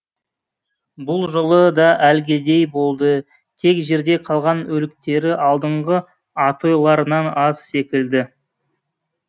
бұл жолы да әлгідей болды тек жерде қалған өліктері алдыңғы атойларынан аз секілді